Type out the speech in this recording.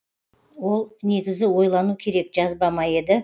ол негізі ойлану керек жазба ма еді